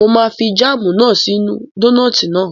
Mo máa fi jáàmù náà sí inú dónààtì náà